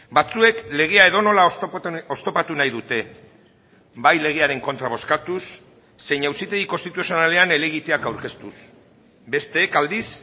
batzuek legea edonola oztopatu nahi dute bai legearen kontra bozkatuz zein auzitegi konstituzionalean helegiteak aurkeztuz besteek aldiz